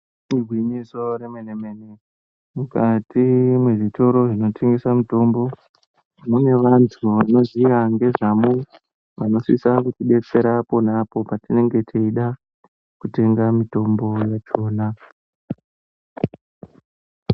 Igwinyiso remenemene, mukati mezvitoro zvinotengese mitombo mune vantu vanoziya ngezvamo vanosisa kutidetsera ponapo patinenge techida kutenga mitombo yachona.